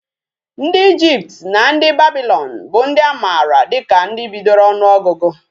Ndi Egypt na ndi Babylon bu ndi amara dika ndi bidoro onuogugu